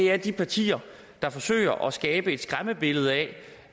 er de partier der forsøger at skabe et skræmmebillede af